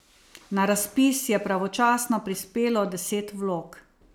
Na razpis je pravočasno prispelo deset vlog.